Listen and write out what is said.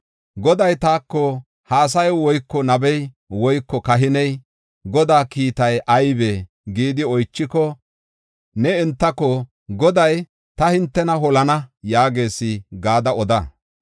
“Goday taako, ‘Ha asay woyko nabey woyko kahiney, Godaa kiitay aybee?’ gidi oychiko, ne entako, ‘Goday, ta hintena holana’ yaagees” gada oda.